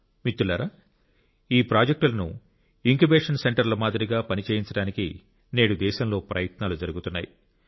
మిత్రులారా ఈ ప్రాజెక్టులను ఇంక్యుబేషన్ సెంటర్ల మాదిరిగా పని చేయించడానికి నేడు దేశంలో ప్రయత్నాలు జరుగుతున్నాయి